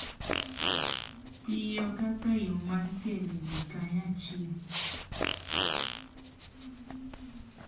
Tiyo kaka yo mar kelo ji kanyachiel